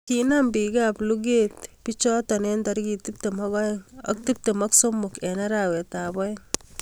kinam bikaap lugrt bichoto eng tarikit tiptem ak aeng ak tiptem ak somok eng arawet aeng